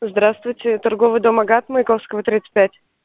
здравствуйте торговый дом агат маяковского тридцать пять